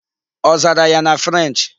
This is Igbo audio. Ọ zara ya na French'?